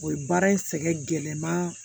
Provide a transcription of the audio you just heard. O ye baara in sɛgɛn gɛlɛnma